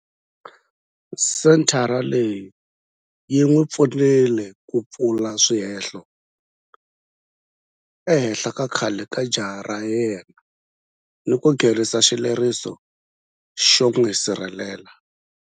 Senthara leyi yi n'wi pfunile ku pfula swihehlo ehenhla ka khale ka jaha ra yena ni ku nghenisa xileriso xo n'wi sirhelela.